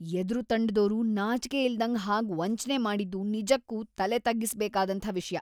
ಎದುರು ತಂಡದೋರು ನಾಚ್ಕೆ ಇಲ್ದಂಗ್‌ ಹಾಗ್ ವಂಚ್ನೆ ಮಾಡಿದ್ದು ನಿಜಕ್ಕೂ ತಲೆತಗ್ಗಿಸ್ಬೇಕಾದಂಥ ವಿಷ್ಯ.